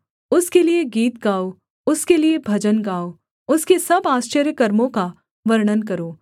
उसके लिये गीत गाओ उसके लिये भजन गाओ उसके सब आश्चर्यकर्मों का वर्णन करो